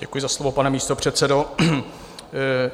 Děkuji za slovo, pane místopředsedo.